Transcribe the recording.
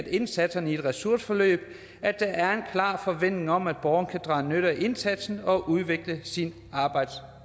indsatserne i et ressourceforløb at der er klar forventning om at borgeren kan drage nytte af indsatsen og udvikle sin arbejdsevne